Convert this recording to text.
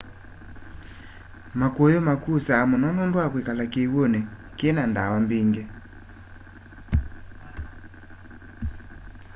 makuyu makusa muno nundu wa kwikala kiw'uni ki na ndawa mbingi